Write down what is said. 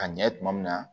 A ɲɛ tuma min na